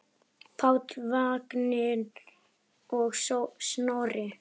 Páll, Vignir og Snorri.